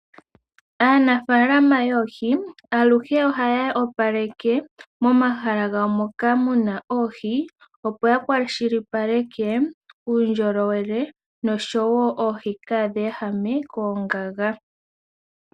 Aanafalama yoohi aluhe ohaya opaleke momahala gawo moka muna oohi, opo ya kwashilipaleke, uundjolowele noshowo oohi kadhi ehame koongaga.